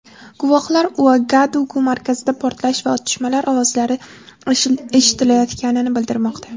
Guvohlar Uagadugu markazida portlash va otishma ovozlari eshitilayotganini bildirmoqda.